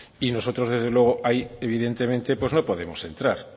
y nosotros desde luego ahí evidentemente pues no podemos entrar